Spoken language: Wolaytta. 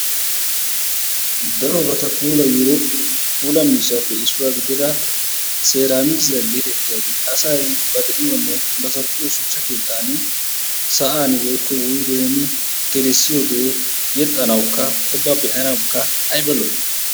darobaata puulayiyo puula miishshappe issuwa gidida seramikissiyaa getettiyaagee asay ba de'iyonne ba zal''iyo shuchcha keettan sa'an woykko wuyggeen gelissiyooge yexxanawukka ubba be'anawukka aybba lo''i.